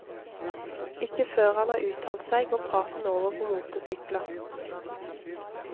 Ikke før han har uttalt seg, går praten over på motorsykler.